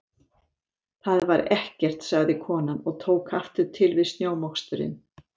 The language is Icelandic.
Það var ekkert- sagði konan og tók aftur til við snjómoksturinn.